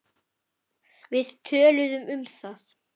Við töluðum um það.